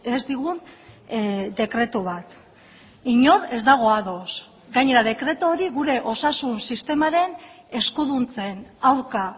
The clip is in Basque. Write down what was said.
ez digun dekretu bat inor ez dago ados gainera dekretu hori gure osasun sistemaren eskuduntzen aurka